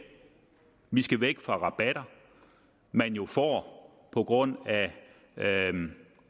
vi skal væk fra rabatter man jo får på grund af